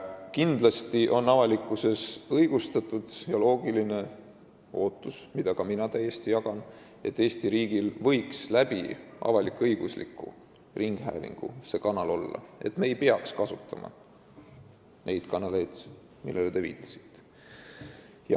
Kindlasti on avalikkusel õigustatud ja loogiline ootus, mida ka mina täiesti jagan, et Eesti riigil võiks olla selleks avalik-õigusliku ringhäälingu kanal, et me ei peaks kasutama neid kanaleid, millele te viitasite.